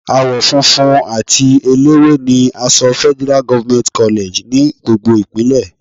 Àwọ funfun àti eléwé ni aṣọ Federal government college ní gbogbo Ìpínlẹ̀.